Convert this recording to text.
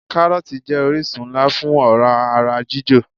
Káròòtì jé orísun nlá fún òrá ara jíjò